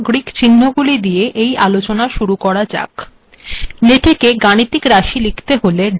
LaTeX গাণিতিক রািশ লিখতে হলেডলার চিহ্ন ব্যবহার করিত হয়